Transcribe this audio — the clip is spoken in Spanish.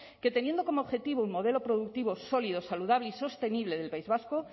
que teniendo como objetivo un modelo productivo sólido saludable y sostenible del país vasco